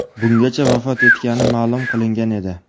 Bungacha vafot etgani ma’lum qilingan edi.